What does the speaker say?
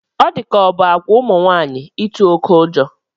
Ọ di ka ọ bụ àgwà ụmụ nwaanyị ịtụ oké ụjọ